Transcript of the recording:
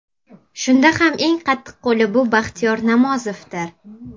Shunda ham eng qattiqqo‘li bu Baxtiyor Namozovdir.